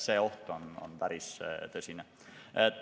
See oht on päris tõsine.